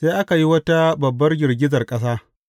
Sai aka yi wata babbar girgizar ƙasa.